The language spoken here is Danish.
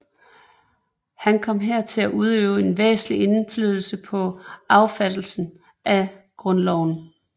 Han kom her til at udøve en væsentlig indflydelse på affattelsen af Grundloven